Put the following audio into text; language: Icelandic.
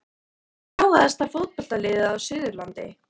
Hvert er gáfaðasta fótboltaliðið á Suðurlandi?